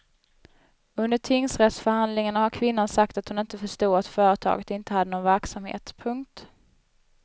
Under tingsrättsförhandlingarna har kvinnan sagt att hon inte förstod att företaget inte hade någon verksamhet. punkt